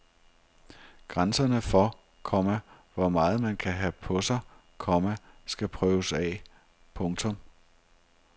Grænserne for, komma hvor meget man kan have på sig, komma skal prøves af. punktum